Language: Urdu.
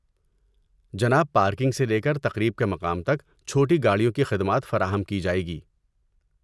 جناب، پارکنگ سے لے کر تقریب کے مقام تک، چھوٹی گاڑیوں کی خدمات فراہم کی جائیں گی۔